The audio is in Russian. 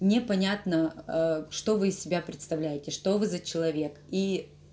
непонятно ээ что вы из себя представляете что вы за человек и